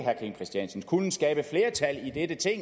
kunnet skabe flertal i dette ting